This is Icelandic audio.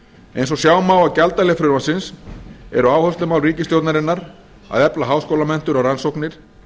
eins og sjá má á gjaldahlið frumvarpsins eru áherslumál ríkisstjórnarinnar að efla háskólamenntun og rannsóknir